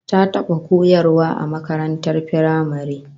Ta taba koyarwa a makarantar firamare